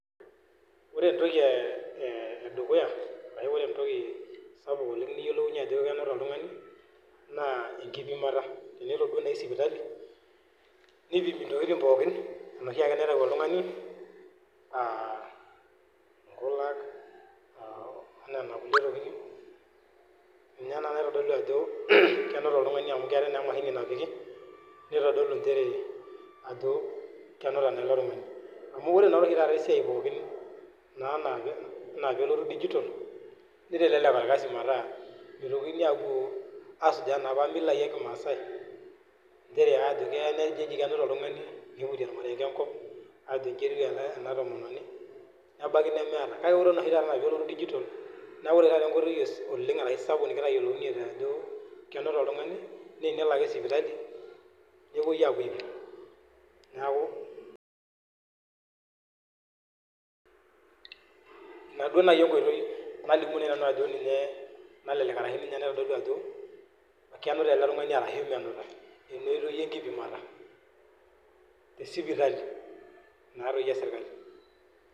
Ore entoki edukuya entoki sapuk oleng niyiolounye ajo kenuta oltungani naa enkipimata tenedodua naaji sipitali, nipimi intokitin pookin enoshiiake naitayu oltungani aa; nkulak, onena kulie nitokitin, ninye naa nitodolu ajo kenuta oltungani amuu keetae naa emashini napiki nitodolu nchere ajo kenuta naa ele tungani, ore naa esiaii pookin enaa peelotu digital nitelelek orkasi meetaa mitokini apuo aasuj napa milaii ekimaadae, nchere ajo keya kenuta oltungani, niputi ormarenge enkop ajo iji etiu ena tomononi, nebaiki nemeetae, kake kore enaa peepuku digital naa ore taata enkotoi aae sapuk nikiyiounye ajo kenuta oltungani naa enelo ake sipitali nepoi apuo aipim, neeku ina naaji enkotoi nadim atolimu ajo kenuta ele tungani ashu menuta, te sipitali naatoi esirkali.